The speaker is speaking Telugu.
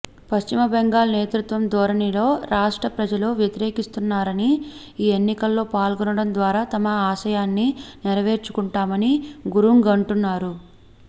పశ్చిమ బెంగాల్ నియంతృత్వధోరణిని రాష్ట్ర ప్రజలు వ్యతిరేకిస్తున్నారని ఈ ఎన్నికల్లో పాల్గొనడం ద్వారా తమ ఆశయాన్ని నెరవేర్చుకుంటామని గురుంగ్ అంటున్నారు